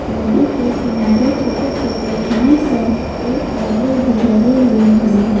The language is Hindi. नदी के किनारे छोटे छोटे घास और पेड़ पौधे भी लगे हुए हैं।